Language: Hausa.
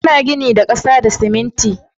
Ana gini da ƙasa da siminti